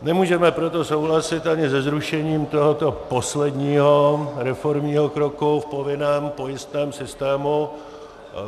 Nemůžeme proto souhlasit ani se zrušením tohoto posledního reformního kroku v povinném pojistném systému.